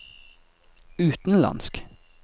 utenlandsk